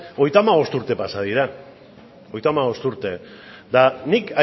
hogeita hamabost urte pasa dira hogeita hamabost urte eta nik